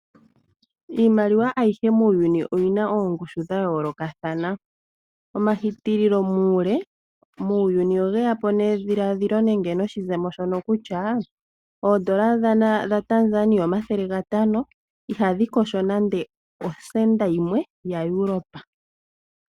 Iimaliwa ayihe muuyuni oyina oongushu dha yoolokathana. Omahitililo muule muuyuni ogeyapo nedhiladhilo nenge noshizemo kutya oondola dha Tanzania omathele gatano ihadhi kosho nande osenda yimwe yaEuropa.